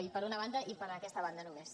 no per una banda i per aquesta banda només